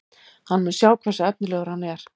Hann mun sjá hversu efnilegur hann er.